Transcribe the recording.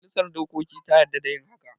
Majalisa dokokin ta yarda da yin haka